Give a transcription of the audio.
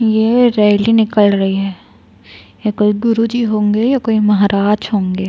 ये रैली निकल रही है ए कोई गुरूजी होंगे या कोई महाराज होंगे।